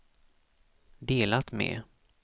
delat med